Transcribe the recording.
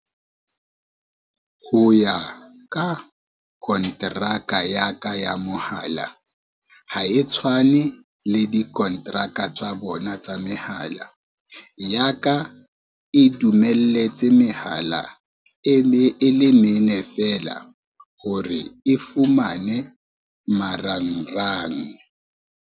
Ho ya ka kontraka ya ka ya mohala, ha e tshwane le dikonteraka tsa bona tsa mehala, ya ka e dumelletse mehala e le mene fela hore e fumane marangrang.